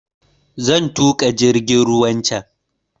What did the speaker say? Zan tuƙa jirgin ruwan can